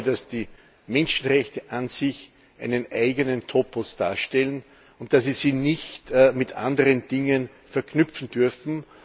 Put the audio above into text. Ich glaube, dass die Menschenrechte an sich einen eigenen Topos darstellen und dass Sie sie nicht mit anderen Dingen verknüpfen dürfen.